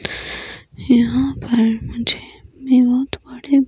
यहां पर मुझे बहोत बड़े--